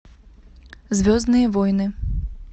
звездные войны